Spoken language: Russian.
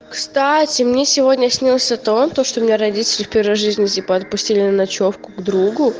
кстати мне сегодня снился то что что у меня родители в первой жизни типо отпустили на ночёвку к другу